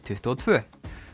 tuttugu og tvö